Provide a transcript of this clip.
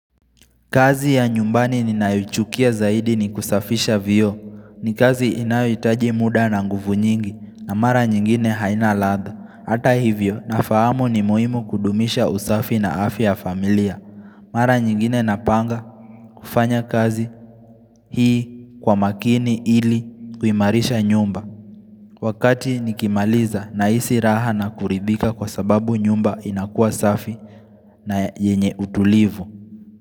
Kazi ya nyumbani ninayoichukia zaidi ni kusafisha vioo. Ni kazi inayohitaji muda na nguvu nyingi na mara nyingine haina latha. Hata hivyo nafahamu ni muhimu kudumisha usafi na afya ya familia. Mara nyingine napanga kufanya kazi hii kwa makini ili kuimarisha nyumba. Wakati nikimaliza na hisi raha na kuridhirika kwa sababu nyumba inakuwa safi na yenye utulivu.